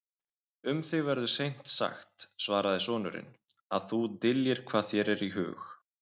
Um þig verður seint sagt, svaraði sonurinn,-að þú dyljir hvað þér er í hug.